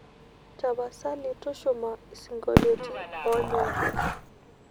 tapasali tushuma siongoliotin onyori